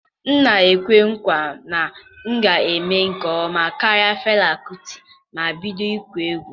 M na-ekwe nkwa na m ga-eme nke ọma karịa Fela Kuti ma m bido ịkụ egwu.